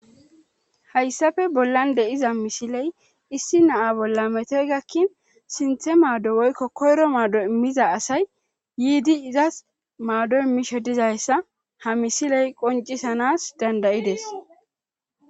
hayssafe bollan de7iza misiley issi naa bolla metoy gakkin sinthe maaddo woykko koyro maaddo immiza asay yiidi izas maaddo immishe dizayssa ha misiley qoncisanas dandayides